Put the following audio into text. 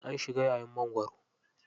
An shiga yayin mangwaro.